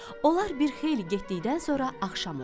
Onlar bir xeyli getdikdən sonra axşam oldu.